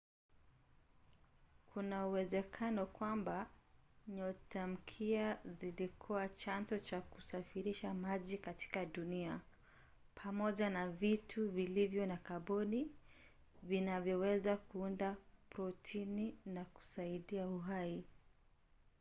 kuna uwezekano kwamba nyotamkia zilikuwa chanzo cha kusafirisha maji katika dunia pamoja na vitu vilivyo na kaboni vinavyoweza kuunda protini na kusaidia uhai